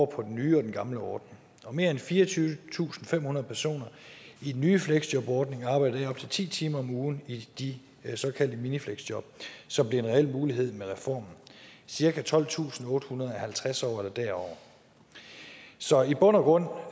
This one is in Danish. på den nye og den gamle ordning og mere end fireogtyvetusinde og femhundrede personer i den nye fleksjobordning arbejder her op til ti timer om ugen i de såkaldte minifleksjob som blev en reel mulighed med reformen cirka tolvtusinde og ottehundrede er halvtreds år eller derover så i bund og